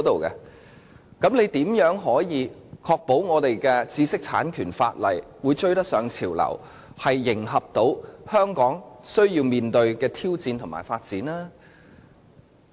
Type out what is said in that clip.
那麼，政府又如何能確保我們的知識產權法可追得上潮流，能迎合香港須面對的挑戰和發展呢？